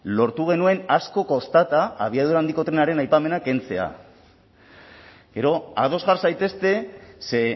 lortu genuen asko kostata abiadura handiko trenaren aipamena kentzea gero ados jar zaitezte ze